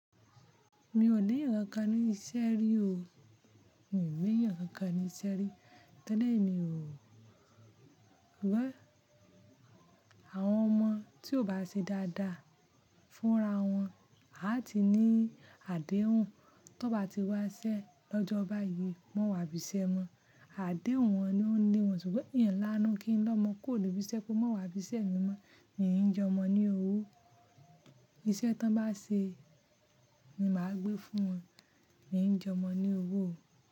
Mi ò ní ìran kan ní iṣẹ́ rí o. Mi ò ní ìran kan ní iṣẹ́ rí. Tẹ́lẹ̀ ni o. Rí i. Àwọn ọmọ tí ò bá ṣe dáadáa fúnra wọn a ti ní àdéhùn. Tó bá ti wá iṣẹ́ lọ́jọ́ báyìí, má wà bí iṣẹ́ mọ. Àdéhùn wọn ni ó ń lé wọn ṣùgbọ́n n láánú kí n lọmọ kuro ni bí iṣẹ́ kó má wà bí iṣẹ́ mi mọ́. Mi ò ní jọmọ ní owó. Iṣẹ́ tán bá ṣe ni màá gbé fún wọn. Mi ò ní jọmọ ní owó o.